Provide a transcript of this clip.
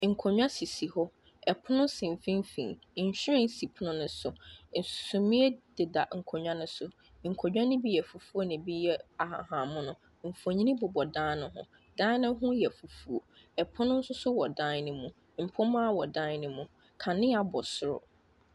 Nkonya sisi hɔ, ɛpono so mfimfini, nhwiren si ɛpono no so. sumiiɛ deda nkonya ne so. Nkonya me bi yɛ fufuo ɛna ebi yɛ ahahammono. Mfonyini bobɔ dan ne ho. Dan ne ho yɛ fufuo, ɛpono nso so wɔ dan ne mu. Mpomma wɔ dan ne mu, kanea bɔ soro.